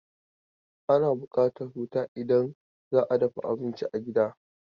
Ana buƙatan wuta idan za a dafa abincin a gida.